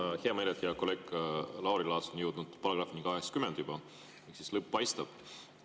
Mul on hea meel, et hea kolleeg Lauri Laats on jõudnud juba §‑ni 80 ehk siis lõpp paistab.